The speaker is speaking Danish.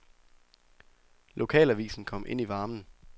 Lokalavisen kom ind i varmen.